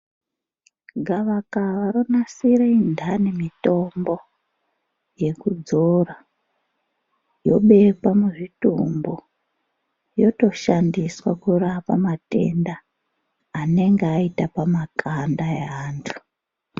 Gavakava ronasira indani mitombo yekudzora yobekwe muzvitumbu yotoshandiswa kurapa matenda anenge aita pamakanda evanthu.